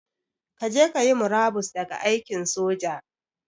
Kaje kayi murabus daga aikin soja